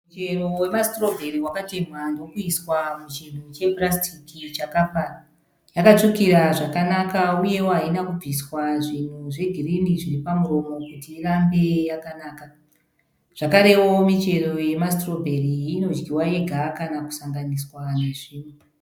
Muchero wemasitirobheri wakatemhwa nokuiswa muchinhu chepurasitiki chakafara. Yakatsvukira zvakanaka uyewo haina kubviswa zvinhu zvegirini zviri pamuromo kuti irambe yakanaka. Zvakarewo michero yemasitirobheri inodyiwa yega kana kusanganiswa nezvimwe.